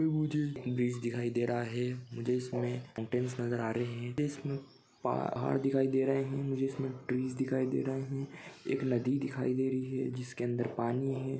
Bridge दिखाई दे रहा है मुझे इसमें होटलस नज़र आ रहे है मुझे इसमें पा- पहाड़ दिखाई दे रहे हैं मुझे इसमे ट्रीस दिखाई दे रहे है एक नदी दिखाई दे रही है जिसके अंदर पानी है।